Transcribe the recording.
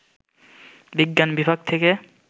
বিজ্ঞান বিভাগ থেকে